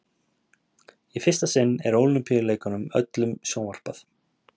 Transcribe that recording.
Í fyrsta sinn er Ólympíuleikunum öllum sjónvarpað.